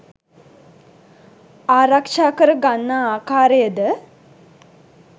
ආරක්‍ෂා කර ගන්නා ආකාරයද